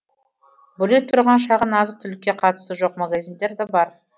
бөлек тұрған шағын азық түлікке қатысы жоқ магазиндар де